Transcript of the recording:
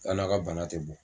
An n'aw ka bana tɛ bɔ